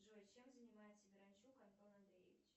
джой чем занимается миранчук антон андреевич